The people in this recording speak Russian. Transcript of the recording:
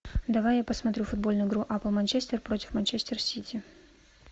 давай я посмотрю футбольную игру апл манчестер против манчестер сити